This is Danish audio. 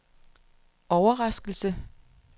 overraskelse